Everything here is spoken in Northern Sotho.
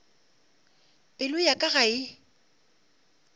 pelo ya ka ga e